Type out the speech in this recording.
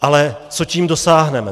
Ale co tím dosáhneme?